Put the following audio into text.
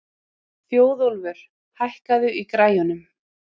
Þjóðólfur, hækkaðu í græjunum.